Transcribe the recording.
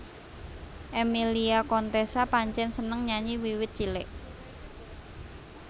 Emmilia Contessa pancen seneng nyanyi wiwit cilik